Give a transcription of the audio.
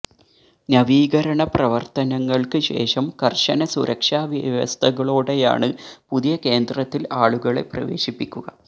നവീകരണപ്രവർത്തനങ്ങൾക്ക് ശേഷം കർശന സുരക്ഷാ വ്യവസ്ഥകളോടെയാണ് പുതിയ കേന്ദ്രത്തിൽ ആളുകളെ പ്രവേശിപ്പിക്കുക